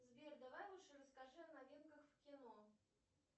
сбер давай лучше расскажи о новинках в кино